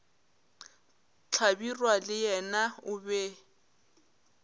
hlabirwa le yena o be